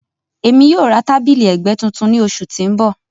Emi yoo ra tabili ẹgbẹ tuntun ni oṣu ti n bọ.